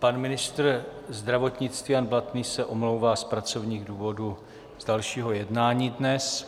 Pan ministr zdravotnictví Jan Blatný se omlouvá z pracovních důvodů z dalšího jednání dnes.